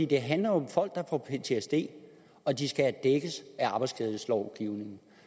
det handler jo om folk der får ptsd og at de skal dækkes af arbejdsskadelovgivningen